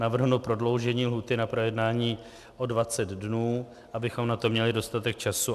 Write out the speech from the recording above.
Navrhnu prodloužení lhůty na projednání o 20 dnů, abychom na to měli dostatek času.